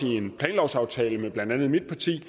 i en planlovsaftale med blandt andet mit parti